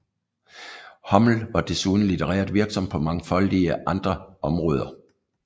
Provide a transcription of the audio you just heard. Hommel var desuden litterært virksom på mangfoldige andre områder